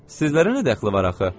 Sizlərə nə dəxli var axı?